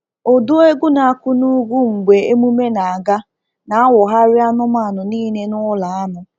Ụdụ egwu na-akụ n’ugwu mgbe emume na-aga, na-awụgharị anụmanụ niile n'ụlọ anụ.